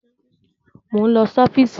Mò ń lọ sí ọ́fíìsì.